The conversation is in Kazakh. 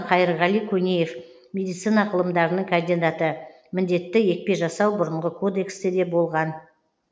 крупно қайырғали көнеев медицина ғылымдарының кандидаты міндетті екпе жасау бұрынғы кодексте де болған